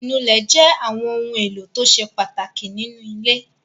Ìnulẹ̀ jẹ́ àwọn ohun-èlò tó ṣe pàtàkì nínú ilé.